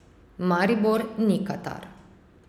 Maribor ni Katar.